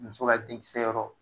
Muso ka denkisɛ yɔrɔ